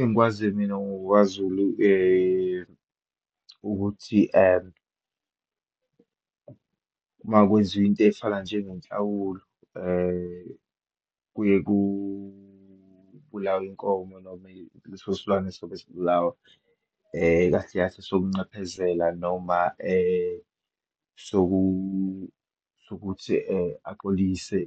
Engikwaziyo mina ngokwaZulu ukuthi uma kwenziwa into eyifana njengenhlawulo kuye kubulawe inkomo noma leso silwane esobe sibulawa, kahle kahle sokunqephezela noma sokuthi axolise